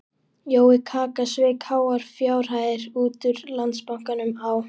Jói kaka sveik háar fjárhæðir út úr Landsbankanum á